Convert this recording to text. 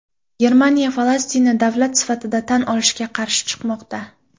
Germaniya Falastinni davlat sifatida tan olishga qarshi chiqmoqda.